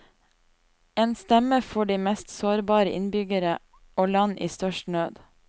En stemme for de mest sårbare innbyggere og land i størst nød.